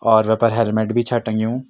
और wafer helmet भी छा टंग्युं।